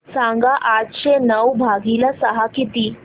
सांगा आठशे नऊ भागीले सहा किती